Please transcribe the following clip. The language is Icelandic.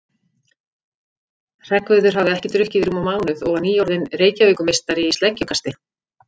Hreggviður hafði ekki drukkið í rúman mánuð og var nýorðinn Reykjavíkurmeistari í sleggjukasti.